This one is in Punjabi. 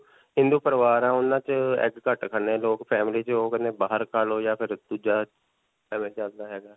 ਹਿੰਦੂ ਪਰਿਵਾਰ ਹੈ ਉਨ੍ਹਾਂ 'ਚ egg ਘੱਟ ਖਾਂਦੇ ਹੈ ਲੋਗ family 'ਚ ਓਹ ਕਹਿੰਦੇ ਬਾਹਰ ਖਾ ਲੋ ਜਾਂ ਫਿਰ ਦੂਜਾ